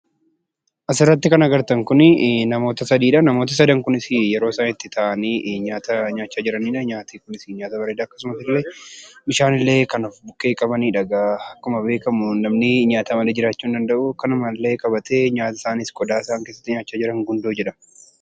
Asirratti kan agartan kunii namoota sadiidhaa. Namoota sadan kunisii yeroo isaan itti taa'anii nyaata nyaachaa jiranidhaa. Nyaati kunisii nyaata bareedaa akkasumasillee bishaanilee kan of bukkee qabanidha. Egaa akkuma beekamu namnii nyaata malee jiraachuu hin danda'uu. Kanumallee qabatee nyaata isaaniis qodaa isaan keessatti nyaachaa jiran gundoo jedhama.